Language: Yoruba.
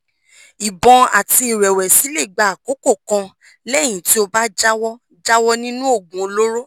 ìbọ̀n àti ìrẹ́wẹ̀sì lè gba àkókò kan lẹ́yìn tí o bá jáwọ́ jáwọ́ nínú oògùn olóró